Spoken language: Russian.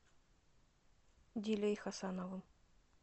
дилей хасановым